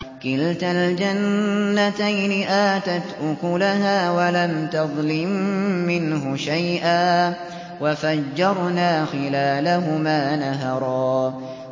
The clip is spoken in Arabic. كِلْتَا الْجَنَّتَيْنِ آتَتْ أُكُلَهَا وَلَمْ تَظْلِم مِّنْهُ شَيْئًا ۚ وَفَجَّرْنَا خِلَالَهُمَا نَهَرًا